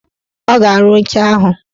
Ọ ga-arụ oche ahụ.